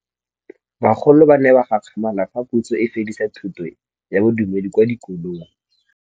Bagolo ba ne ba gakgamala fa Pusô e fedisa thutô ya Bodumedi kwa dikolong.